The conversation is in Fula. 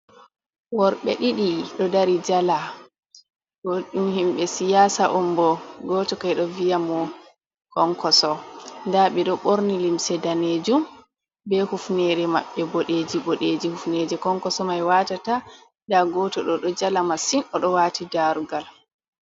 Worɓe ɗiɗi ɗo dari jala bo ɗum himɓe siyasa on bo. Goto kam ɓeɗo viya mo Kwankwaso. Nda ɓeɗo ɓorni limse danejum be hufneje maɓɓe boɗeji boɗeji hufneje Kwankwaso mai watata. Nda goto ɗo ɗo jala masin oɗo wati darugal.